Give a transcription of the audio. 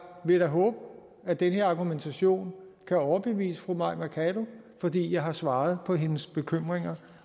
vil da håbe at den her argumentation kan overbevise fru mai mercado fordi jeg har svaret på hendes bekymringer